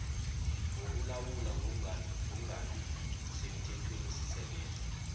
wokulawula ngokungabi semthethwenisisekelo